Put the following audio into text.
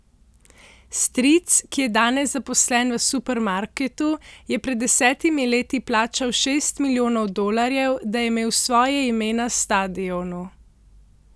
Stric, ki je danes zaposlen v supermarketu, je pred desetimi leti plačal šest milijonov dolarjev, da je imel svoje ime na stadionu.